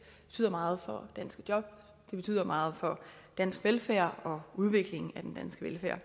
betyder meget for danske job betyder meget for dansk velfærd og udviklingen af den danske velfærd